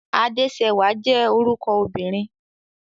Adéṣẹwà jẹ́ orúkọ obìnrin.